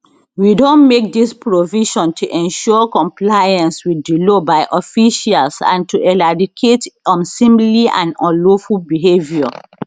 we don make dis provision to ensure compliance with di law by officials and to eradicate unseemly and unlawful behavior